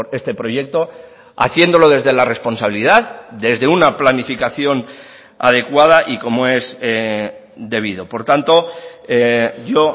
este proyecto haciéndolo desde la responsabilidad desde una planificación adecuada y como es debido por tanto yo